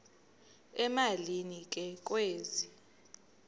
emalini ke kwezi